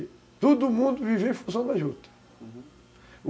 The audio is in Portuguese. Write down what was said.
E todo mundo vivia em função da juta, uhum.